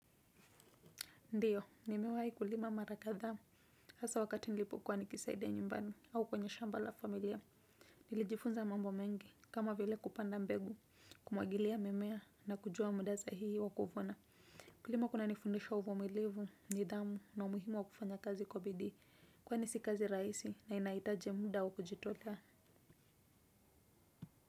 Ndiyo, nimewahi kulima mara kadhaa hasaa wakati nilipokuwa nikisaida nyumbani, au kwenye shamba la familia. Nilijifunza mambo mengi, kama vile kupanda mbegu, kumwagilia mimea, na kujua muda sahihi wa kuvuna. Kulima kuna nifundisha uvumilivu, nidhamu, na umuhimu wa kufanya kazi kwa bidii, kwani si kazi rahisi, na inahitaji muda wa kujitolea.